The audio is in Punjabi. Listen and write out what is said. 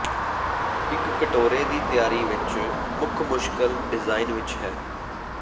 ਇੱਕ ਕਟੋਰੇ ਦੀ ਤਿਆਰੀ ਵਿਚ ਮੁੱਖ ਮੁਸ਼ਕਲ ਡਿਜ਼ਾਇਨ ਵਿੱਚ ਹੈ